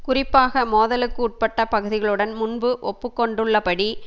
குறிப்பாக மோதலுக்கு உட்பட்ட பகுதிகளுடன் முன்பு ஒப்புக்கொண்டுள்ள படி